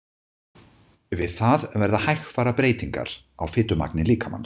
Við það verða hægfara breytingar á fitumagni líkamans.